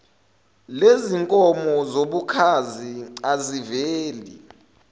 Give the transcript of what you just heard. lezinkomo zobukhazi aziveli